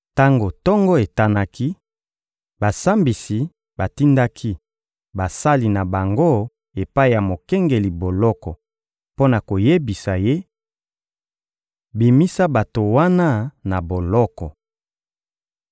Tango tongo etanaki, basambisi batindaki basali na bango epai ya mokengeli boloko mpo na koyebisa ye: — Bimisa bato wana na boloko!